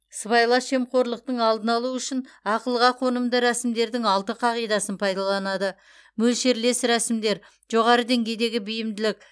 сыбайлас жемқорлықтың алдын алу үшін ақылға қонымды рәсімдердің алты қағидасын пайдаланады мөлшерлес рәсімдер жоғары деңгейдегі бейімділік